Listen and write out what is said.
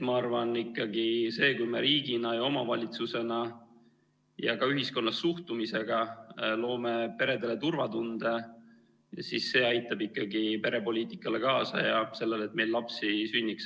Ma arvan, et see, kui me riigina ja omavalitsusena ja ka ühiskonna suhtumisega loome peredele turvatunde, siis see aitab ikkagi kaasa perepoliitikale ja sellele, et meil lapsi sünniks.